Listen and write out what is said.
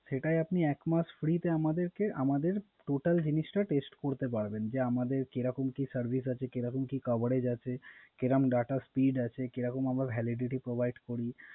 সেটাই আপনি এক মাস ফ্রি তে আমাদের Total জিনিসটা Test করতে পারবেন। যে আমাদের কি রকম Service আছে কি রকম কি Coverage আছে এবং Data Speed আছে কি রকম আমরা Validity provide করি।